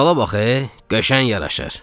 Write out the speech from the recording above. Saqqala bax, qəşəng yaraşır.